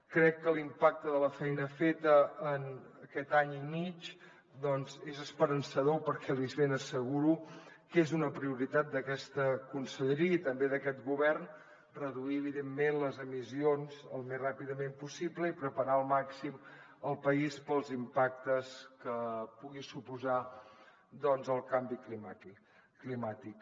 crec que l’impacte de la feina feta en aquest any i mig doncs és esperançador perquè els ben asseguro que és una prioritat d’aquesta conselleria i també d’aquest govern reduir evidentment les emissions el més ràpidament possible i preparar al màxim el país per als impactes que pugui suposar el canvi climàtic